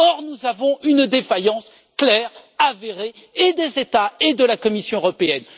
Pourtant, nous avons une défaillance claire et avérée des États et de la Commission européenne.